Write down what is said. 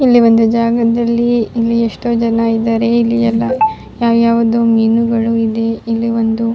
ಇಲ್ಲಿ ಒಂದು ಜಗದಲ್ಲಿ ಇಲ್ಲಿ ಎಷ್ಟೋ ಜನ ಇದ್ದಾರೆ. ಇಲ್ಲಿ ಎಲ್ಲ ಯಾವ ಯಾವುದೊ ಮೀನುಗಳು ಇದೆ ಇಲ್ಲಿ ಒಂದು --